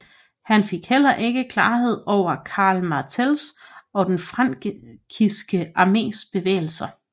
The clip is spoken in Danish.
Han fik heller ikke klarhed over Karl Martells og den frankiske armés bevægelser